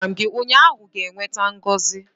Agwara m gi ụnyahụ, gaa nweta ngozi gị!